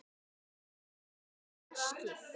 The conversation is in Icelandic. Að taka upp veskið.